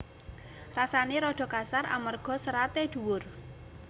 Rasané rada kasar amarga seraté dhuwur